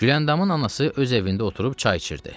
Gülandamın anası öz evində oturub çay içirdi.